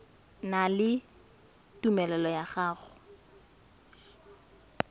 na le tumelelo ya go